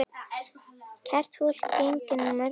Kært fólk gegnir mörgum nöfnum.